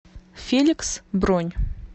феликс бронь